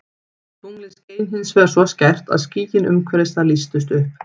Tunglið skein hins vegar svo skært að skýin umhverfis það lýstust upp.